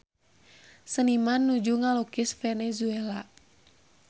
Seniman nuju ngalukis Venezuela